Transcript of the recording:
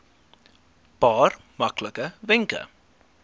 paar maklike wenke